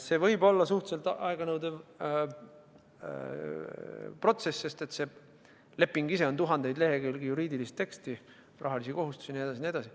See võib olla suhteliselt aeganõudev protsess, sest leping ise on tuhandeid lehekülgi juriidilist teksti, rahalisi kohustusi jne, jne.